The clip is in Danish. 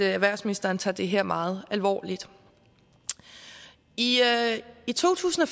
erhvervsministeren tager det her meget alvorligt i i to tusind og